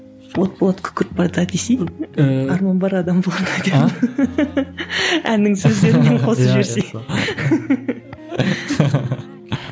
от болады күкірт болады а десей арман бар адам болғанға деп әннің сөздерін де қосып жіберсей